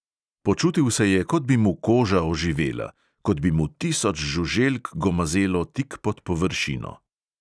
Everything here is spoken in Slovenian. Počutil se je, kot bi mu koža oživela, kot bi mu tisoč žuželk gomazelo tik pod površino.